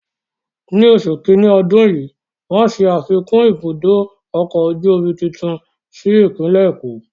Ni oṣù kiní ọdún yìí, wọ́n ṣe afikún ibùdó ọkọ̀ ojú omi tuntun sí ìpínlẹ̀ Èkó.